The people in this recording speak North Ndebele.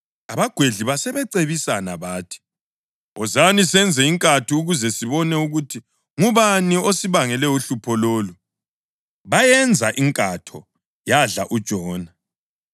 Abagwedli basebecebisana bathi, “Wozani, senze inkatho ukuze sibone ukuthi ngubani osibangele uhlupho lolu.” Bayenza inkatho, yadla uJona.